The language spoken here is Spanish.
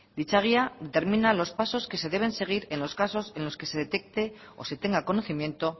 dicha guía termina los pasos que se deben seguir en los casos en los que se detecte o se tenga conocimiento